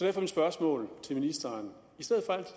er mit spørgsmål til ministeren